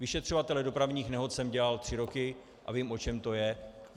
Vyšetřovatele dopravních nehod jsem dělal tři roky a vím, o čem to je.